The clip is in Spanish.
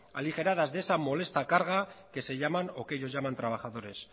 aligeradas de esa molesta carga que se llaman o que ellos llaman trabajadores